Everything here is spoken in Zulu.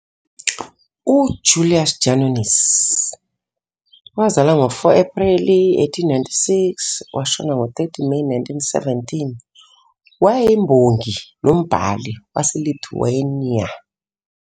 UJulius Janonis, wazalwa ngo-4 Ephreli 1896 washona ngo-30 Meyi 1917, wayeyimbongi nombhali waseLithuania.